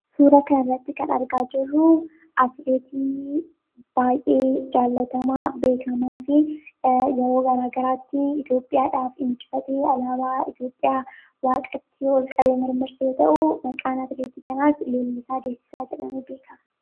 Suuraa kanarratti kan argaa jirru atileetii baay'ee jaallatamaa beekamaa fi yeroo garaagaraatti Itoophiyaadhaaf alaabaa Itoophiyaa waaqatti ol qabee kan mirmirse yoo ta'u, maqaan isaas Fayyisaa Leellisaa jedhamuun beekama.